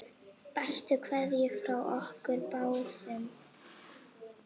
Bestu kveðjur frá okkur báðum.